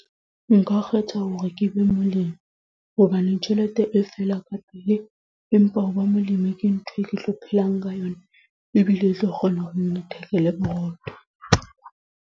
Nka kgetha hore ke be molemi, hobane tjhelete e fela ka pele. Empa ho ba molemi ke ntho e ke tlo phelang ka yona. Ebile e tlo kgona hore e nthekele borotho.